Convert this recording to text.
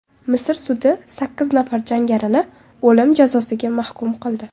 Misr sudi sakkiz nafar jangarini o‘lim jazosiga mahkum qildi.